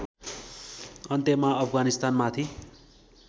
अन्त्यमा अफगानिस्तानमाथि